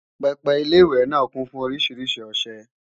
pẹpẹ Ilé-ìwẹ̀ náà kún fún oríṣiríṣi ọṣẹ